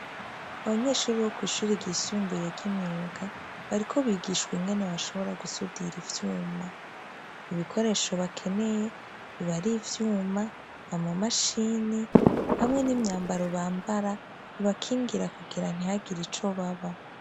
Abanyeshure bisumbuye bishure ryimyuga bariko bigishwa ingene basudira ivyuma ibikoresho bakeneye aba ari ivyuma amamashine hamwe nimyambaro bambara ibakingira kugira ntibagire ico baba